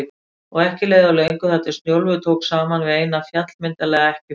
Og ekki leið á löngu þar til Snjólfur tók saman við eina, fjallmyndarlega ekkjufrú